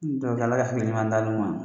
Ala ka hakili ɲuman d'an n'u a